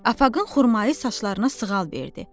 Afaqın xurmayı saçlarına sığal verdi.